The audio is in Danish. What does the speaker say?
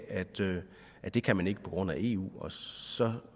det kan man ikke på grund af eu så